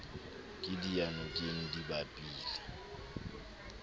ke diyanokeng di bapile le